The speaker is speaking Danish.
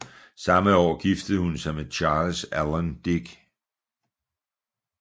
Samme år giftede hun sig med Charles Allen Dick